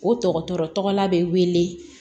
O dɔgɔtɔrɔ bɛ wele